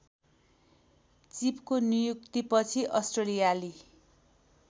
चिपको नियुक्तिपछि अस्ट्रेलियाली